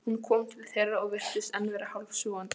Hún kom til þeirra og virtist enn vera hálfsofandi.